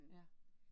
Ja